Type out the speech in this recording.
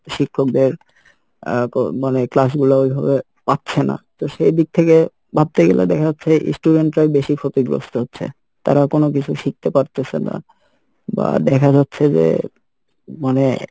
শিক্ষকদের আহ মানে class গুলা ওইভাবে পাচ্ছে না, তো সেই দিক থেকে ভাবতে গেলে দেখা যাচ্ছে student রাই বেশি ক্ষতিগ্রস্থ হচ্ছে তারা কোনোকিছু শিখতে পারতেসে না বা দেখা যাচ্ছে যে মানে